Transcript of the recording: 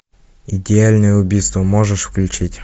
идеальное убийство можешь включить